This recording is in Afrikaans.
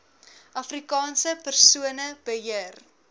afrikaanse persone beheer